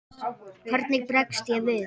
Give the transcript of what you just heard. Hvernig bregst ég við?